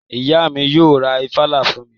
Ìyá mi yóò ra ìfàlà fún mi